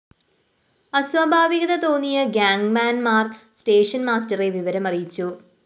അസ്വാഭാവികത തോന്നിയ ഗ്യാങ്മാന്‍മാര്‍ station master വിവരമറിയിച്ചു